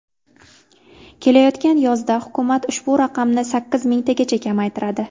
Kelayotgan yozda hukumat ushbu raqamni sakkiz mingtagacha kamaytiradi.